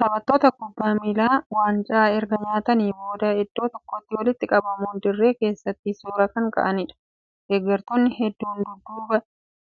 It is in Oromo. Taphattoota kubbaa miilaa waancaa erga nyaatanii boodaa iddoo tokkotti walitti qabamuun dirree keessaatti suuraa kan ka'aniidha. Deeggartoonni hedduun dudduuba